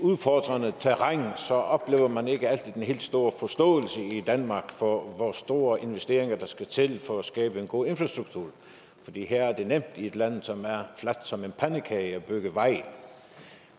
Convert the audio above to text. udfordrende terræn oplever man ikke altid den helt store forståelse i danmark for hvor store investeringer der skal til for at skabe en god infrastruktur her er det nemt i et land som er fladt som en pandekage at bygge veje